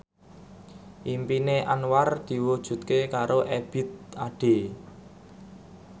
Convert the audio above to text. impine Anwar diwujudke karo Ebith Ade